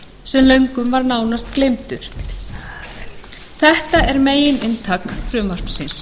sem löngum var nánast gleymdur þetta er megininntak frumvarpsins